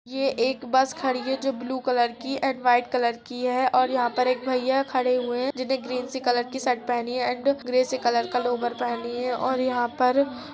ये एक बस खड़ी है। जो ब्लू कलर की ऐंड वाइट कलर की है और यहाँ पर एक भैया खड़े हुएँ हैं। जिनने ग्रीन सी कलर की शर्ट पहनी है एंड ग्रे से कलर का लोवर पहनी है और यहां पर --